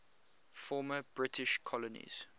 former british colonies